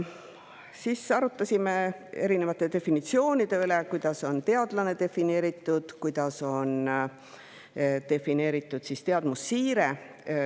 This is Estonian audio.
Siis arutasime erinevate definitsioonide üle: kuidas on defineeritud teadlane, kuidas on defineeritud teadmussiire.